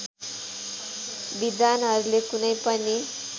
विद्वानहरूले कुनै पनि